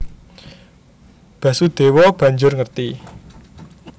Basudèwa banjur ngerti